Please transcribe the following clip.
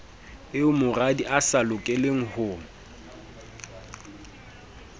eo moradiae a sa lokelengho